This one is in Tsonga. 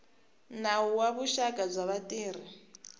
nawu wa vuxaka bya vatirhi